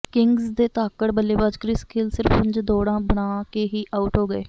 Kings ਦੇ ਧਾਕੜ ਬੱਲੇਬਾਜ਼ ਕ੍ਰਿਸ ਗੇਲ ਸਿਰਫ ਪੰਜ ਦੌੜਾਂ ਬਣਾ ਕੇ ਹੀ ਆਊਟ ਹੋ ਗਏ